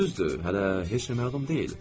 Axı düzdür, hələ heç nə məlum deyil.